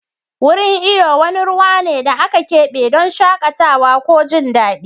Wurin iyo wani ruwa ne da aka kebe don shakatawa ko jin daɗi.